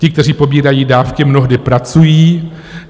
Ti, kteří pobírají dávky, mnohdy pracují.